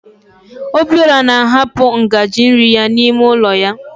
Obiọra na ahapụ ngaji nri ya n'ime ụlọ ya.